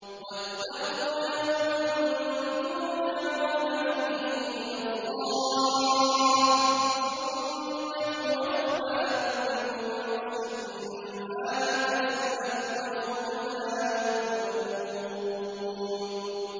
وَاتَّقُوا يَوْمًا تُرْجَعُونَ فِيهِ إِلَى اللَّهِ ۖ ثُمَّ تُوَفَّىٰ كُلُّ نَفْسٍ مَّا كَسَبَتْ وَهُمْ لَا يُظْلَمُونَ